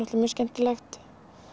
mjög skemmtilegt